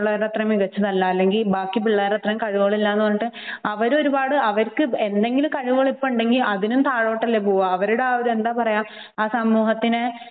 നമ്മൾ അത്രയും മികച്ചതല്ല അല്ലെങ്കിൽ ബാക്കി പിള്ളേരുടെ അത്രയും കഴിവുകൾ ഇല്ല എന്ന് പറഞ്ഞിട്ട് അവരും ഒരുപാട് അവർക്ക് എന്തെങ്കിലും കഴിവുകൾ ഇപ്പോൾ ഉണ്ടെങ്കിൽ അതിനും താഴോട്ട് അല്ലെ പോവുക അവരുടെ എന്താ പറയുക ആ സ, സമൂഹത്തിനെ